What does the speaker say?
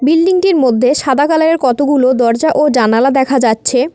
Building -টির মধ্যে সাদা কালার -এর কতগুলো দরজা ও জানালা দেখা যাচ্ছে।